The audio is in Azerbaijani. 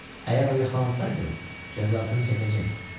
Əgər o yaxalansaydı, cəzasını çəkəcəkdi.